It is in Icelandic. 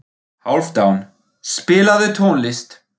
Hálfdan, spilaðu tónlist.